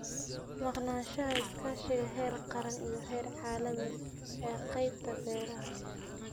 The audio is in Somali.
Maqnaanshaha iskaashiga heer qaran iyo heer caalami ee qaybta beeraha.